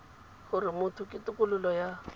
gore motho ke tokololo ya